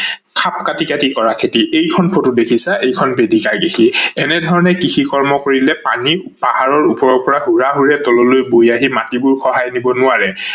খাপ কাতি কাতি কৰা খেতি, এইখন ফট দেখিছা এইখন বেদিকা খেতি ।এনে ধৰনে কৃষি কৰ্ম কৰিলে পানী পাহাৰৰ ওপৰৰ পৰা হুৰা হুৰে তললৈ বৈ আহি মাটিবোৰ খাই দিব নোৱাৰে